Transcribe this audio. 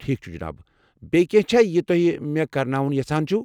ٹھیٖک چھُ جِناب، بییٚہِ کینٛہہ چھا یہِ تو٘ہہِ مےٚ كرناوُن یژھان چھِو ؟